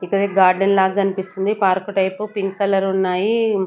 ఇక్కడ గార్డెన్ లాగ కనిపిస్తుంది పార్క్ టైప్ పింక్ కలర్ ఉన్నాయి.